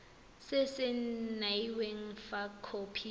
se se saenweng fa khopi